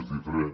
és diferent